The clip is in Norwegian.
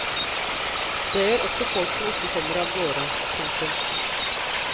Det gjør også folk som ikke kommer av gårde. punktum